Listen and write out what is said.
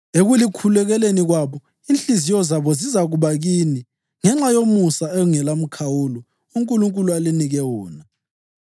Ekulikhulekeleni kwabo, inhliziyo zabo zizakuba kini ngenxa yomusa ongelamkhawulo uNkulunkulu alinike wona.